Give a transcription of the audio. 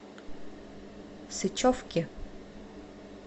сычевки